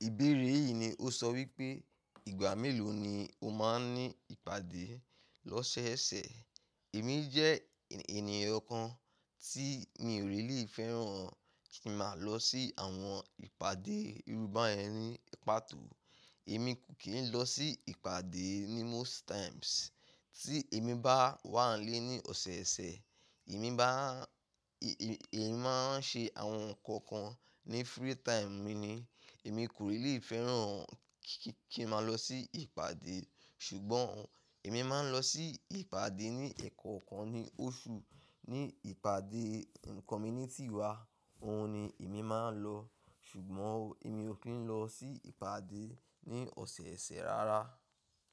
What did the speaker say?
Ìbéèrè yìí ni ó sọ wípé ìgbà mélòó ni o máa ń ní ìpàdé lọ́sẹ̀ẹ̀sẹ̀. Èmi jẹ́ ènìyàn kan tí mi ò rí lè fẹ́ràn kí n máa lọ sí àwọn ìpàdé irú báyen ní pàtó. Èmi kò kí ń lọ sí ìpàdé ní most times. Tí èmi bá wà ílé ní ọ̀sọeọ̀sẹ̀, èmi máa ń ṣe àwọn ǹkan kan ní free time mi ni. Èmi kò really fẹ́ràn kí n máa lọ sí ìpàdé. Ṣùgbọ́n èmi máa ń lọ sí ìpàdé ní ẹ̀ẹ̀kọ̀kan ní oṣù ní ìpàdé community wa, òun ni èmi máa ń lọ. Ṣùgbọ́n èmi ò kí ń lọ sí ìpàdé ní ọ̀sẹ̀ẹ̀sẹ̀ rárá.